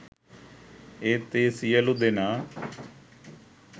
ඒත් ඒ සියලූ දෙනා